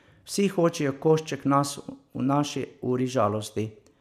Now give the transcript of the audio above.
Vsi hočejo košček nas v naši uri žalosti.